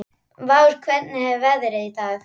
Vár, hvernig er veðrið í dag?